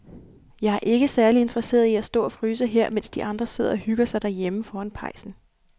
Jeg er ikke særlig interesseret i at stå og fryse her, mens de andre sidder og hygger sig derhjemme foran pejsen.